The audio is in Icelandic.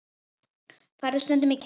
Ferðu stundum í kirkju?